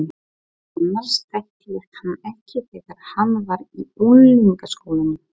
Annars þekkti ég hann ekki þegar hann var í unglingaskólanum.